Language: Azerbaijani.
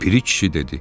Piri kişi dedi: